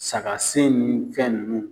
Saga sen ni fɛn nunnu.